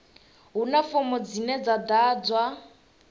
huna fomo dzine dza ḓadzwa